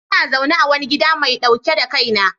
Ina zaune a wani gida mai dauke da kaina